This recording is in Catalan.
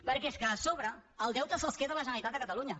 perquè és que a sobre els deutes se’ls queda la generalitat de catalunya